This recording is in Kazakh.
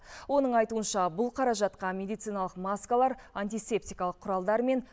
оның айтуынша бұл қаражатқа медициналық маскалар антисептикалық құралдармен